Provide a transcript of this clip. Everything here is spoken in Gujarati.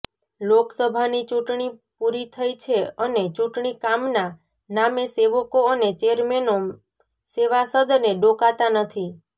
લોકસભાની ચૂંટણી પૂરી થઇ છે અને ચૂંટણી કામના નામે સેવકો અને ચેરમેનો સેવાસદને ડોકાતા નથી